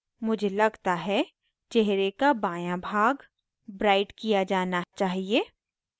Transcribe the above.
मुझे लगता है चेहरे का बायाँ भाग ब्राइट किया जाना चाहिए